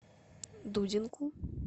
дудинку